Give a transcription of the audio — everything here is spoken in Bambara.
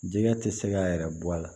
Jɛgɛ tɛ se k'a yɛrɛ bɔ a la